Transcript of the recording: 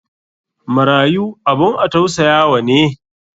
marayu abun a tausayawa ne.